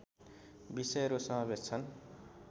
विषयहरू समावेश छन्